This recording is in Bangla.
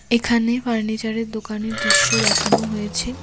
এখানে ফার্নিচারের দোকানের দিশ্য দেখানো হয়েছে।